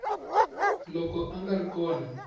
loko a nga ri kona